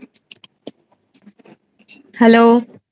hello